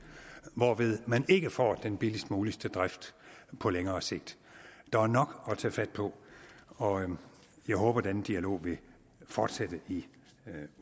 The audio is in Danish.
hvorved man ikke får den billigst mulige drift på længere sigt der er nok at tage fat på og jeg håber at den dialog vil fortsætte i